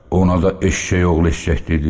O da eşşək oğlu eşşək dedim.